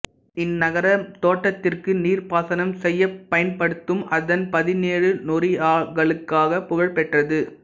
இந்நகரம் தோட்டத்திற்கு நீர்ப்பாசனம் செய்யப் பயன்படுத்தும் அதன் பதினேழு நோரியாக்களுக்காக புகழ்பெற்றது